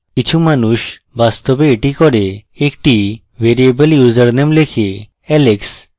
কিছু মানুষ বাস্তবে এটি করেএকটি ভ্যারিয়েবল ইউসারনেম let alex